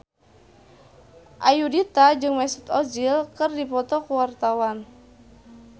Ayudhita jeung Mesut Ozil keur dipoto ku wartawan